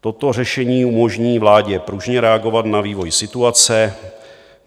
Toto řešení umožní vládě pružně reagovat na vývoj situace.